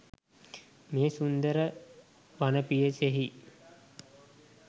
මේ සුන්දර වන පියසෙහි